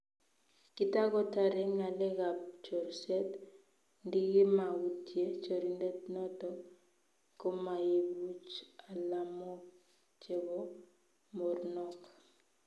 Kitagotare ngalekab chorset ndikimautye chorindet noto komaibuch alamok chebo mornok---